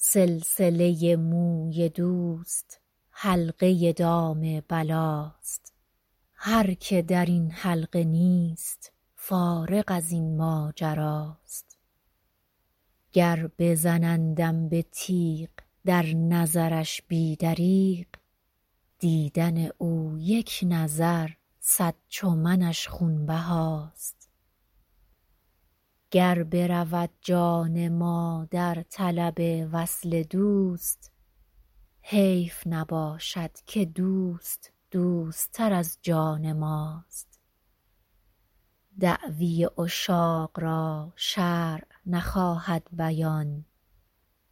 سلسله موی دوست حلقه دام بلاست هر که در این حلقه نیست فارغ از این ماجراست گر بزنندم به تیغ در نظرش بی دریغ دیدن او یک نظر صد چو منش خونبهاست گر برود جان ما در طلب وصل دوست حیف نباشد که دوست دوست تر از جان ماست دعوی عشاق را شرع نخواهد بیان